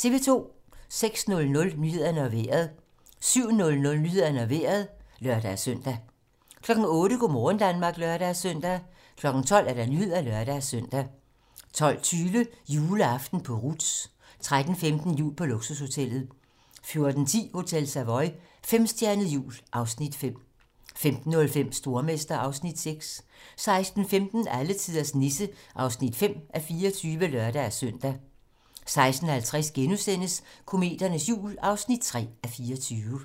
06:00: Nyhederne og Vejret 07:00: Nyhederne og Vejret (lør-søn) 08:00: Go' morgen Danmark (lør-søn) 12:00: 12 Nyhederne (lør-søn) 12:20: Juleaften på Ruths 13:15: Jul på luksushotellet 14:10: Hotel Savoy - femstjernet jul (Afs. 5) 15:05: Stormester (Afs. 6) 16:15: Alletiders Nisse (5:24)(lør-søn) 16:50: Kometernes jul (3:24)*